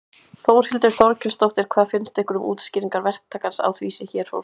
Þórhildur Þorkelsdóttir: Hvað finnst ykkur um útskýringar verktakans á því sem hér fór fram?